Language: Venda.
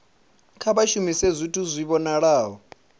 kha vha shumise zwithu zwi vhonalaho